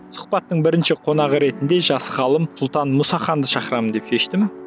сұхбаттың бірінші қонағы ретінде жас ғалым сұлтан мұсаханды шақырамын деп шештім